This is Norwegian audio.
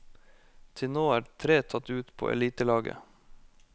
Til nå er tre tatt ut på elitelaget.